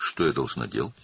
Mən nə etməliyəm?